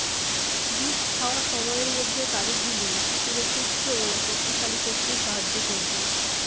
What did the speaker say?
দুধ খাওয়া সময়ের মধ্যে তারিখগুলি শিশুকে সুস্থ ও শক্তিশালী করতে সাহায্য করবে